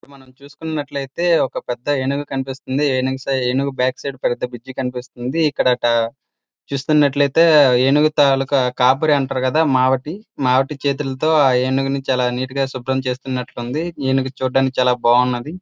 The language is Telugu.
మనం చూసుకున్నట్లయితే ఒక పెద్ద ఏనుగు కనిపిస్తుంది ఏనుగు బ్యాక్ సైడ్ పెద్ద బ్రిడ్జ్ కనిపిస్తుంది ఇక్కడ చూస్తున్నట్లయితే ఏనుగు తాలూకా కాపరి అంటాం కదా మావటి తో ఆ దేని గురించి అలా నీట్ గా శుభ్రం చేసినట్టున్నారు ఏనుగు చూడ్డానికి చాలా బాగుంది.